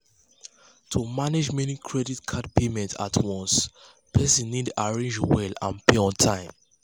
to manage many credit card payments at once person need arrange well and pay on time.